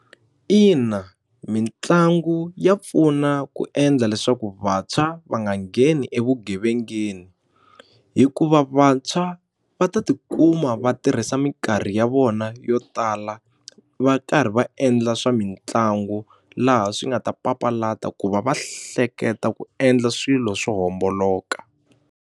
Ina mitlangu ya pfuna ku endla leswaku vantshwa va nga ngheni evugevengeni hikuva vantshwa va ta tikuma va tirha hisa minkarhi ya vona yo tala va karhi va endla swamitlangu laha swi nga ta papalata ku va va hleketa ku endla swilo swo homboloka.